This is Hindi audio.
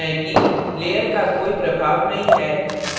आप देख सकते हैं कि layer का कोई प्रभाव नहीं है